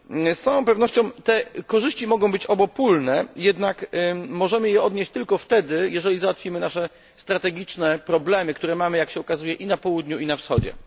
Z całą pewnością te korzyści mogą być obopólne, jednak możemy je odnieść tylko wtedy, jeżeli załatwimy nasze strategiczne problemy, które mamy, jak się okazuje, i na Południu, i na Wschodzie.